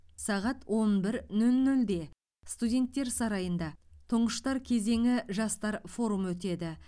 сағат он бір нөл нөлде студенттер сарайында тұңғыштар кезеңі жастар форумы өтеді